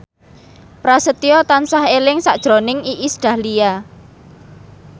Prasetyo tansah eling sakjroning Iis Dahlia